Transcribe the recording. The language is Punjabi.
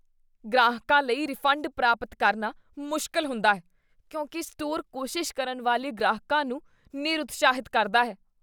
ਗ੍ਰਾਹਕਾਂ ਲਈ ਰਿਫੰਡ ਪ੍ਰਾਪਤ ਕਰਨਾ ਮੁਸ਼ਕਲ ਹੁੰਦਾ ਹੈ ਕਿਉਂਕਿ ਸਟੋਰ ਕੋਸ਼ਿਸ਼ ਕਰਨ ਵਾਲੇ ਗ੍ਰਾਹਕਾਂ ਨੂੰ ਨਿਰਉਤਸ਼ਾਹਿਤ ਕਰਦਾ ਹੈ।